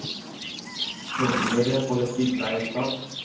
verbonde politieke leierskap